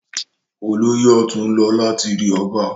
Olóyè ọ̀tún ń lọ láti rí ọba.